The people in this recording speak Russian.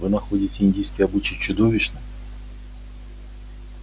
вы находите индийский обычай чудовищным